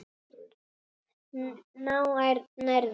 Þá nærðu.